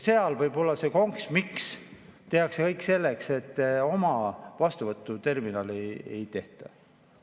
Seal võibki olla see konks, miks tehakse kõik selleks, et oma vastuvõtuterminali ei tehta.